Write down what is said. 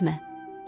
incitmə.